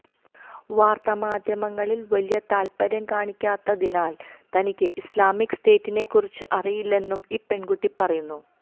വാര്ത്ത മാധ്യമങ്ങളില് വലിയ താല്പ്പര്യം കാണിക്കാത്തതിനാല് തനിക്ക് ഇസ്ലാമിക് സ്റ്റേറ്റിനെക്കുറിച്ച് അറിയില്ലെന്നും ഈ പെണ്കുട്ടി പറയുന്നു